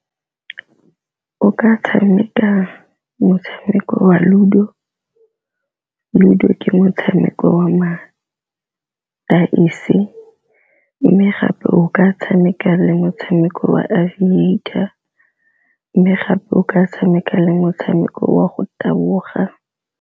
O ka tshameka motshameko wa le Ludo, Ludo ke motshameko wa ma-dice, mme gape o ka tshameka le motshameko wa Aviator mme gape o ka tshameka le motshameko wa go taboga.